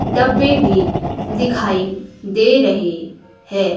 डब्बे भी दिखाई दे रहे हैं।